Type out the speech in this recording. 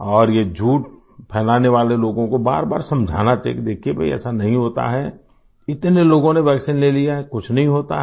और ये झूठ फैलाने वाले लोगों को बारबार समझाना चाहिये कि देखिये भई ऐसा नहीं होता है इतने लोगों ने वैक्सीन ले लिया है कुछ नहीं होता है